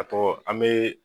A ko an me